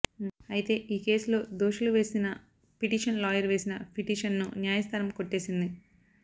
అయితే ఈ కేసులో దోషులు వేసిన పిటిషన్ లాయర్ వేసిన పిటిషన్ను న్యాయస్థానం కొట్టేసింది